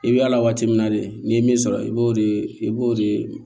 I bɛ yala waati min na de n'i ye min sɔrɔ i b'o de i b'o de